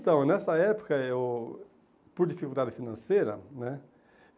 Então, nessa época eu, por dificuldade financeira, né?